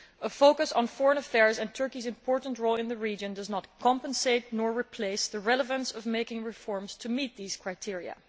A focus on foreign affairs and Turkey's important role in the region neither compensates for nor replaces the relevance of making reforms to meet these criteria.